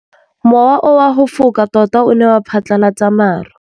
Mowa o wa go foka tota o ne wa phatlalatsa maru.